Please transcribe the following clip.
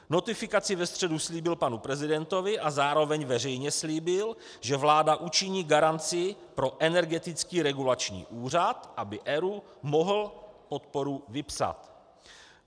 Notifikaci ve středu slíbil panu prezidentovi a zároveň veřejně slíbil, že vláda učiní garanci pro Energetický regulační úřad, aby ERÚ mohl podporu vypsat.